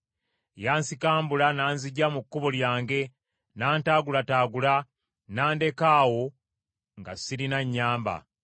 yansikambula n’anziggya mu kkubo lyange n’antaagulataagula n’andeka awo nga sirina anyamba.